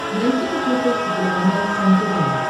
найти на смотрешке телеканал кхлм тв